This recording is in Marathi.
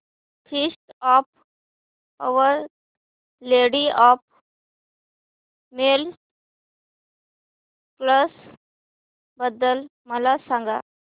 feast of Our Lady of Miracles बद्दल मला सांगा